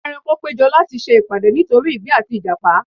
Àwọn ẹranko péjọ láti se ìpàdé nítorí igbin àti ìjàpá